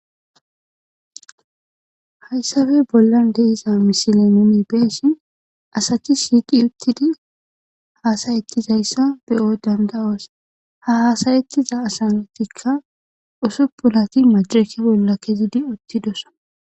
hayssape bollan de'iza misile numi beessi asathi siiqi uttidi haasayettizayssa beyo danda7oos ha hasayettiza asantikka usuppulati majireke bolla kezidi uttidosa